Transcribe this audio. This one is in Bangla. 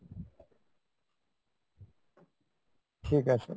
ঠিক আছে।